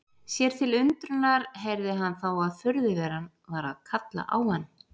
Sér til undrunar heyrði hann þá að furðuveran var að kalla á hann.